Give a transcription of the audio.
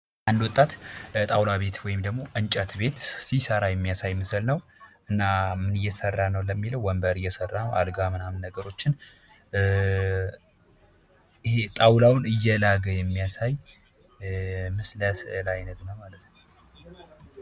የኦንላይን ንግድና ኢ-ኮሜርስ የገበያውን ወሰን በማስፋትና ለሸማቾች ምቹ የግዢ አማራጮችን በመስጠት እያደገ ነው።